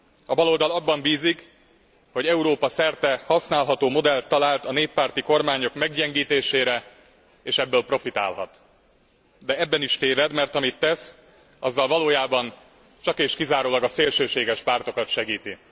A baloldal abban bízik, hogy Európa szerte használható modellt talált a néppárti modell meggyengítésére és ebből profitálhat, de ebben is téved, mert amit tesz, azzal valójában csak és kizárólag a szélsőséges pártokat segíti.